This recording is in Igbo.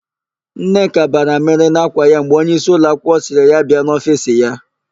Nneka bara amịrị n'ákwà ya mgbe onyeisi ụlọakwụkwọ sịrị ya bịa n'ofiisi ya.